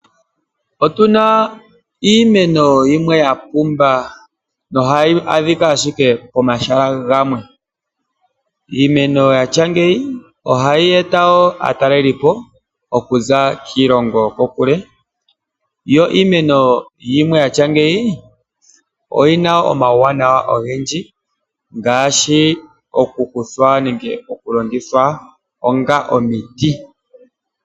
Otuna iimeno yimwe ya pumba nohayi adhika shike pomahala gamwe. Iimeno yatya ngeyi ohayi eta aataleli po okuza kiilongo yoko kule yo iimeno yatya ngeyi oyina omauwanawa ogendji ngaashi oku kuthwa nenge oku longithwa onga omiti.